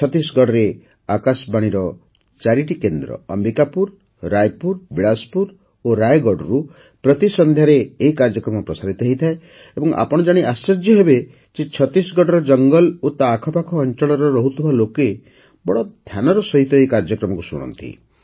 ଛତିଶଗଡ଼ରେ ଆକାଶବାଣୀର ଚାରିଟି କେନ୍ଦ୍ର ଅମ୍ବିକାପୁର ରାୟପୁର ବିଳାସପୁର ଓ ରାୟଗଡ଼ରୁ ପ୍ରତି ସନ୍ଧ୍ୟାରେ ଏହି କାର୍ଯ୍ୟକ୍ରମ ପ୍ରସାରିତ ହୋଇଥାଏ ଓ ଆପଣ ଜାଣି ଆଶ୍ଚର୍ଯ୍ୟ ହେବେ ଯେ ଛତିଶଗଡ଼ର ଜଙ୍ଗଲ ଓ ତା ଆଖପାଖ ଅଞ୍ଚଳରେ ରହୁଥିବା ଲୋକେ ବଡ଼ ଧ୍ୟାନର ସହିତ ଏହି କାର୍ଯ୍ୟକ୍ରମକୁ ଶୁଣନ୍ତି